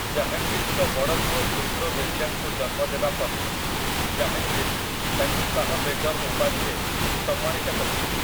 ଜାହାଙ୍ଗୀର୍‌‌ଙ୍କ ବଡ଼ ପୁଅ ଖୁସରୋ ମିର୍ଜାଙ୍କୁ ଜନ୍ମ ଦେବା ପରେ ଜାହାଙ୍ଗୀର୍ ତାଙ୍କୁ ଶାହ୍ ବେଗମ୍ ଉପାଧିରେ ସମ୍ମାନିତ କରିଥିଲେ ।